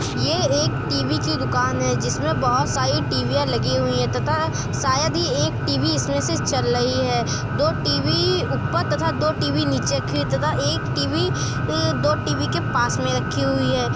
यह एक टी.वी की दुकान है जिसमें बोहोत सारी टीवीयाँ लगी हुई हैं तथा शायद ही एक टी.वी इसमें से चल रही है। दो टी.वी ऊपर तथा दो टी.वी नीचे की तथा एक टी.वी दो टी.वी के पास रखी हुई हैं।